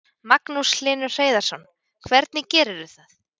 Magnús Hlynur Hreiðarsson: Hvernig gerirðu það?